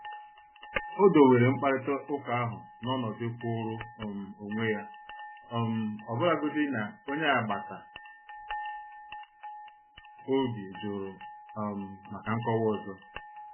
Ó do were mkparịta ụka ahụ n’ọ̀nọdụ kwụụrụ um onwe ya, um ọbụlagodi na onye agbata obi jụrụ um maka nkọwa ọzọ.